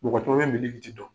Mɔgɔ caman bɛ milikiti dɔn.